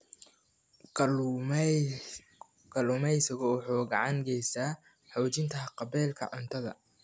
Kalluumaysigu waxa uu gacan ka geystaa xoojinta haqab-beelka cuntada.